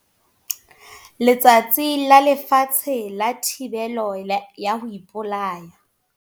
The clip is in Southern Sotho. Letsatsi la Lefatshe la Thibelo ya ho ipolaya.